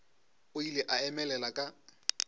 o ile a emelela ka